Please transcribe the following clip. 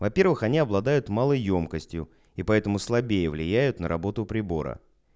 во-первых они обладают малой ёмкостью и поэтому слабее влияют на работу прибора